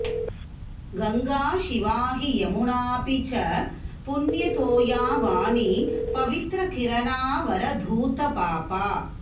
गङ्गा शिवा हि यमुनाऽपि च पुण्यतोया वाणी पवित्रकिरणा वरधूतपापा